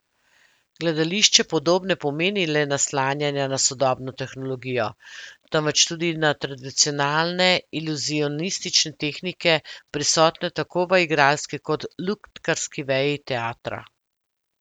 Gledališče podob ne pomeni le naslanjanja na sodobno tehnologijo, temveč tudi na tradicionalne iluzionistične tehnike, prisotne tako v igralski kot lutkarski veji teatra.